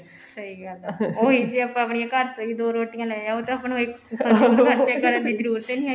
ਸਹੀ ਗੱਲ ਏ ਉਹੀ ਜੇ ਆਪਾਂ ਆਪਣੀਆ ਘਰ ਤੋਂ ਹੀ ਦੋ ਰੋਟਿਆ ਲੈ ਆਓ ਤਾਂ ਆਪਾਂ ਨੂੰ ਇੱਕ ਖਰਚੇ ਕਰਨ ਦੀ ਜਰੂਰਤ ਹੀ ਨਹੀਂ ਹੈਗੀ